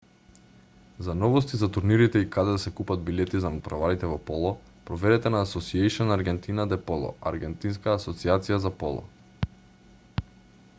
за новости за турнирите и каде да се купат билети за натпреварите во поло проверете на asociacion argentina de polo аргентинска асоцијација за поло